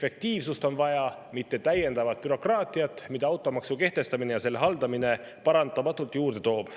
Efektiivsust on vaja, mitte täiendavat bürokraatiat, mida automaksu kehtestamine ja selle haldamine paratamatult juurde toob.